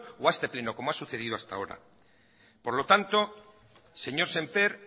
o a este pleno como ha sucedido hasta ahora por lo tanto señor sémper